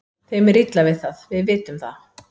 Þeim er illa við það, við vitum það.